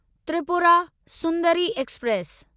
Tripura Sundari express